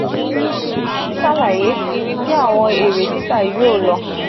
o tun ṣalaye ibi ti awọn ere tita yoo lọ.